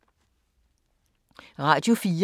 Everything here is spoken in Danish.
Radio 4